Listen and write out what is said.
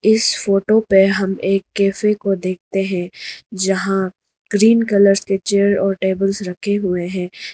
इस फोटो पे हम एक कैफे को देखते हैं जहां ग्रीन कलर्स के चेयर और टेबल्स रखे हुए हैं।